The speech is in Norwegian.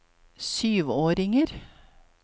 syvåringer